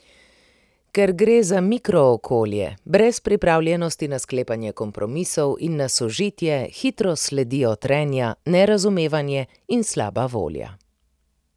Ker gre za mikrookolje, brez pripravljenosti na sklepanje kompromisov in na sožitje, hitro sledijo trenja, nerazumevanje in slaba volja.